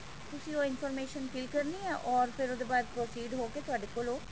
ਤੁਸੀਂ ਉਹ information fill ਕਰਨੀ ਹੈ ਫੇਰ ਉਹ ਤੋਂ ਬਾਅਦ proceed ਹੋਕੇ ਤੁਹਾਡੇ ਕੋਲੋ